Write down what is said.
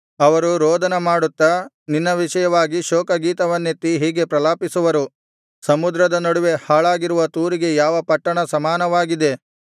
ಅವರು ರೋದನ ಮಾಡುತ್ತಾ ನಿನ್ನ ವಿಷಯವಾಗಿ ಶೋಕ ಗೀತವನ್ನೆತ್ತಿ ಹೀಗೆ ಪ್ರಲಾಪಿಸುವರು ಸಮುದ್ರದ ನಡುವೆ ಹಾಳಾಗಿರುವ ತೂರಿಗೆ ಯಾವ ಪಟ್ಟಣ ಸಮಾನವಾಗಿದೆ